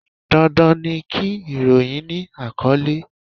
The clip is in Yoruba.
Dandan ni kí ìròyìn ni àkọ́lé.